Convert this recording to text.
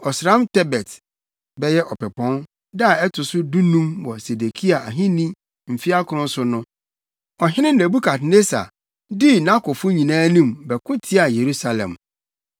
Ɔsram Tebet (bɛyɛ Ɔpɛpɔn) da a ɛto so dunum wɔ Sedekia ahenni mfe akron so no, ɔhene Nebukadnessar dii nʼakofo nyinaa anim, bɛko tiaa Yerusalem. Wotwaa kuropɔn no ho hyiae. Wɔbobɔɔ mpampim wɔ kuropɔn no afasu ho.